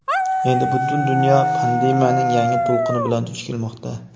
Endi butun dunyo pandemiyaning yangi to‘lqini bilan duch kelmoqda.